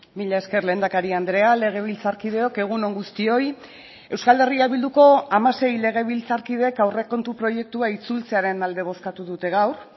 mila esker lehendakari andrea legebiltzarkideok egun on guztioi euskal herria bilduko hamasei legebiltzarkideek aurrekontu proiektua itzultzearen alde bozkatu dute gaur